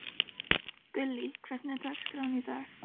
Gullý, hvernig er dagskráin í dag?